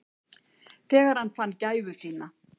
Þegar hann fann gæfu sína.